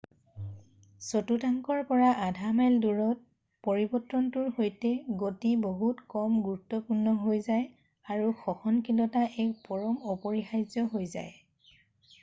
চতুৰ্থাংশৰ পৰা আধা মাইল দৌৰত পৰিৱৰ্তনটোৰ সৈতে গতি বহুত কম গুৰুত্বপূৰ্ণ হৈ যায় আৰু সহনশীলতা এক পৰম অপৰিহাৰ্য হৈ যায়৷